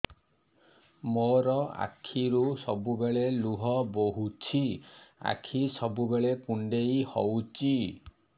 ମୋର ଆଖିରୁ ସବୁବେଳେ ଲୁହ ବୋହୁଛି ଆଖି ସବୁବେଳେ କୁଣ୍ଡେଇ ହଉଚି